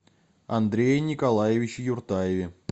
андрее николаевиче юртаеве